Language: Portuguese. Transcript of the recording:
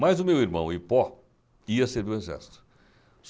Mas o meu irmão Hipó ia servir o exército.